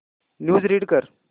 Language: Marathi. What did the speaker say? न्यूज रीड कर